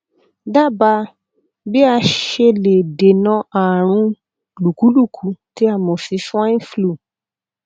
dábàá bí a ṣe lè dènà ààrùn lùkúlùkú tí a mọ sí swine flu